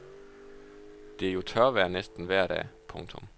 Det er jo tørvejr næsten vejr dag. punktum